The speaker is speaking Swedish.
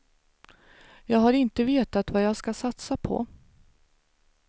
Jag har inte vetat vad jag ska satsa på.